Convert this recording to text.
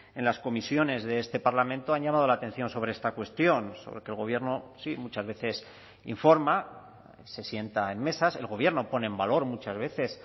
en las comisiones de este parlamento han llamado la atención sobre esta cuestión sobre que el gobierno sí muchas veces informa se sienta en mesas el gobierno pone en valor muchas veces